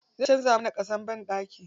Zai canza mana ƙasan banɗaki.